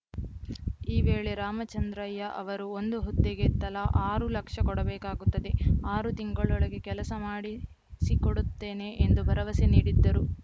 ಈ ವೇಳೆ ರಾಮಚಂದ್ರಯ್ಯ ಅವರು ಒಂದು ಹುದ್ದೆಗೆ ತಲಾ ಆರು ಲಕ್ಷ ಕೊಡಬೇಕಾಗುತ್ತದೆ ಆರು ತಿಂಗಳೊಳಗೆ ಕೆಲಸ ಮಾಡಿಸಿಕೊಡುತ್ತೇನೆ ಎಂದು ಭರವಸೆ ನೀಡಿದ್ದರು